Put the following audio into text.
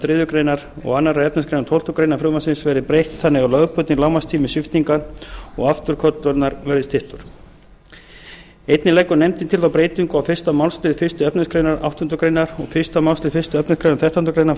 þriðju greinar og önnur efnismgr tólftu greinar frumvarpsins verði breytt þannig að lögbundinn lágmarkstími sviptingar og afturköllunar verði styttur einnig leggur nefndin til þá breytingu á fyrstu málsl fyrstu efnismgr áttundu greinar og fyrstu málsl fyrstu efnismgr þrettándu greinar